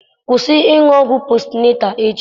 Kwụsị ịṅụ ọgwụ posịnetal echi!